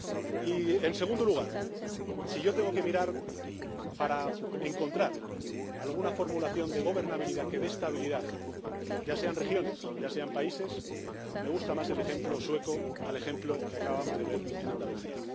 Y, en segundo lugar, si yo tengo que mirar para encontrar alguna formulación de gobernabilidad que dé estabilidad, ya sea en regiones, ya sea en países, me gusta más el ejemplo sueco que el ejemplo que acabamos de ver en Andalucía.